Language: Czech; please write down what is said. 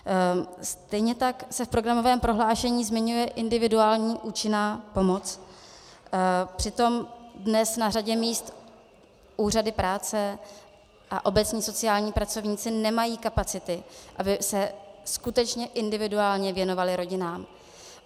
Stejně tak se v programovém prohlášení zmiňuje individuální účinná pomoc, přitom dnes na řadě míst úřady práce a obecně sociální pracovníci nemají kapacity, aby se skutečně individuálně věnovali rodinám.